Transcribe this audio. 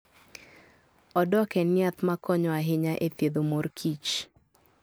Odok en yath ma konyo ahinya e thiedhomor kich